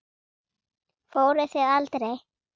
Fóruð þið aldrei?